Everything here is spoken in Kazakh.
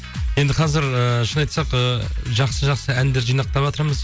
енді қазір ііі шын айтсақ ы жақсы жақсы әндер жинақтаватырмыз